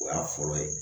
O y'a fɔlɔ ye